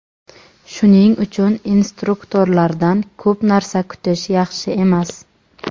Shuning uchun instruktorlardan ko‘p narsa kutish yaxshi emas.